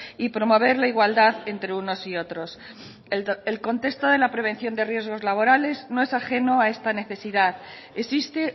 y promover la igualdad entre unos y otros el contexto de la prevención de riesgos laborales no es ajeno a esta necesidad existe